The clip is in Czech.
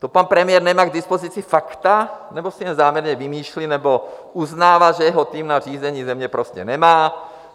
To pan premiér nemá k dispozici fakta, nebo si je záměrně vymýšlí, nebo uznává, že jeho tým na řízení země prostě nemá?